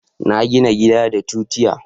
na gina gida da tutiya